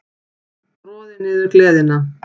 Troði niður gleðina.